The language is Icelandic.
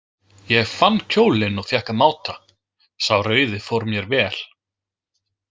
Ég fann kjólinn og fékk að máta, sá rauði fór mér vel.